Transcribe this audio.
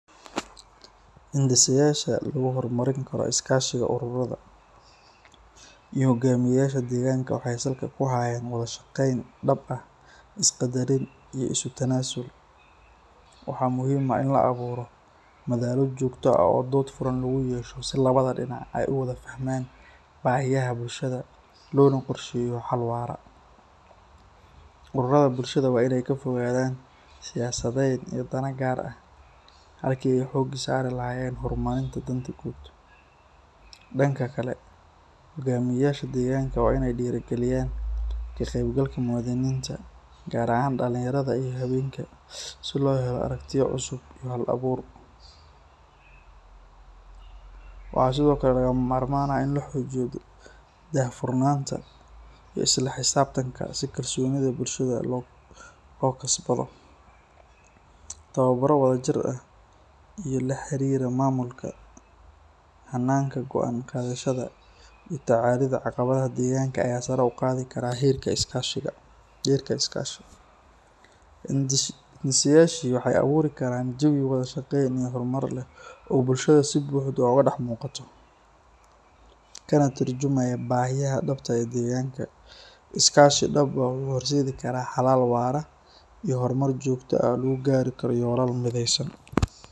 Lagu hor marin karo is kashi waxeey salka kuhayan wadaa shaqeun, dood furan lagu yeesho, waa inaay ka fogadan siyasda, danka kale waa inaay diiri galinyan ka qeyb galka, gaar ahaan dalinyarada iyo habeenka, tababara wada jir ah oo la xariiro mamulka, sare uqaadi kara heerka is kashiga, kana turmjumaya bahida danmbta ah, hor mar joogta ah.